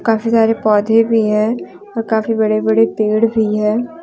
काफी सारे पौधे भी है और काफी बड़े बड़े पेड़ भी है।